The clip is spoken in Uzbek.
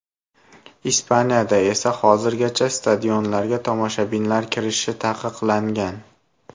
Ispaniyada esa hozirgacha stadionlarga tomoshabinlar kirishi taqiqlangan.